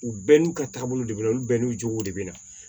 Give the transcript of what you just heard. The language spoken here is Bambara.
U bɛɛ n'u ka taabolo de bɛ olu bɛɛ n'u jogow de bɛ na